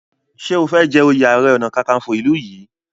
ṣe o fè jé oyè aré ọnà kankanfo ilú yí?